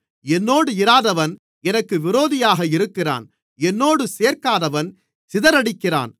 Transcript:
என்னோடு இராதவன் எனக்கு விரோதியாக இருக்கிறான் என்னோடு சேர்க்காதவன் சிதறடிக்கிறான்